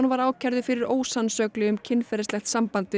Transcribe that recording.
var ákærður fyrir ósannsögli um kynferðislegt samband við